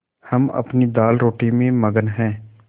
हम अपनी दालरोटी में मगन हैं